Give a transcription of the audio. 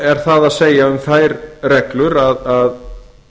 er það að segja um þær reglur að